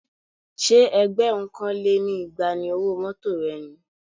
Ṣé ẹgbẹ̀rún kan lé ní igba ni owó mọ́tọ̀ rẹ ni?